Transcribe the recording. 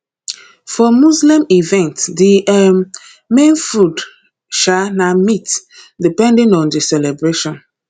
for muslim events di um main food um na meat depending on di celebration